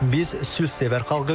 Biz sülhsevər xalqıq.